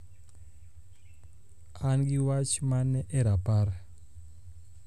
an gi wach mane e rapar